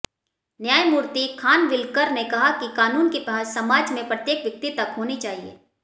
न्यायमूर्ति खानविलकर ने कहा कि कानून की पहुंच समाज में प्रत्येक व्यक्ति तक होनी चाहिए